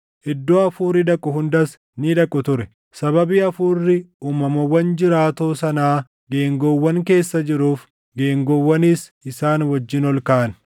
Iddoo hafuurri dhaqu hundas ni dhaqu ture; sababii hafuurri uumamawwan jiraatoo sanaa geengoowwan keessa jiruuf geengoowwanis isaan wajjin ol kaʼan.